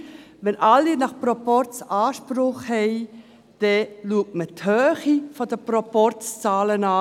Wenn nach Proporz alle Anspruch haben, schaut man die Höhe der Proporzzahlen an.